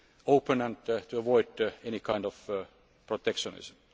open and to avoid any kind of protectionism.